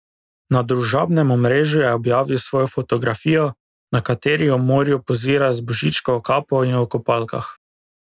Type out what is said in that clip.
Na družabnem omrežju je objavil svojo fotografijo, na kateri v morju pozira z Božičkovo kapo in v kopalkah.